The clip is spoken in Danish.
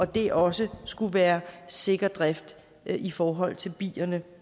det også skulle være sikker drift i forhold til bierne